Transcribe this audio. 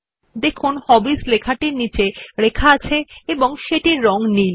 দেখুন হবিস লেখাটি নিম্নরেখাঙ্কিত এবং সেটির রং নীল